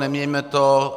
Neměňme to.